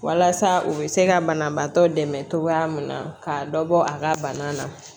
Walasa u bɛ se ka banabaatɔ dɛmɛ cogoya mun na k'a dɔ bɔ a ka bana na